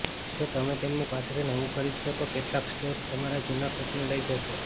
જો તમે તેમની પાસેથી નવું ખરીદશો તો કેટલાક સ્ટોર્સ તમારા જૂના કોચને લઈ જશે